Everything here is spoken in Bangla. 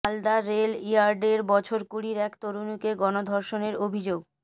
মালদা রেল ইয়ার্ডে বছর কুড়ির এক তরুণীকে গণধর্ষণের অভিযোগ